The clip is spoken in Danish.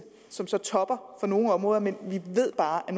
som så topper for nogle områder men vi ved bare at